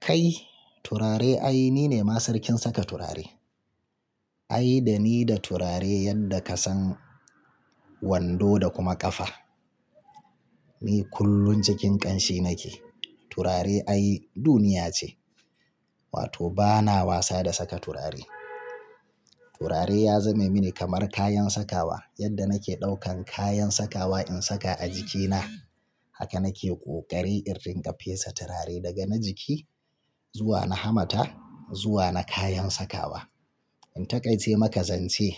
Kai turare ai ni ne ma sarkin saka turare. Ai da ni da turare yadda ka san wando da kuma ƙafa. Ni kullum cikin ƙanshi nake. Turare ai duniya ce, wato bana wasa da saka turare. Turare ya zame mini kamar kayan sakawa yadda nake ɗaukan kayan sakawa in saka a jikina. Haka nake ƙoƙari irin ƙa fesa turare daga na jiki zuwa na hamata zuwa na kayan sakawa. In taƙaice maka zance